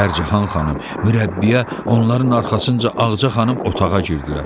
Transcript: Pərcahan xanım, mürəbbiyə, onların arxasınca Ağca xanım otağa girdilər.